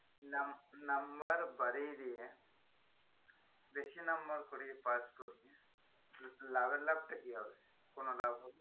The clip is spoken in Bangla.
Num~number বাড়িয়ে দিয়ে বেশি number করিয়ে pass করিয়ে লাভের লাভটা কি হবে কোন লাভ হবে